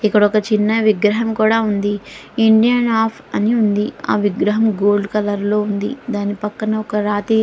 ఇక్కడ ఒక చిన్న విగ్రహం కూడా ఉంది. ఆ విగ్రహం గోల్డ్ కలర్ లో ఉంది. దాని పక్కన--